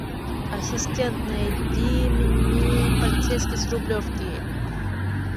ассистент найди мне полицейский с рублевки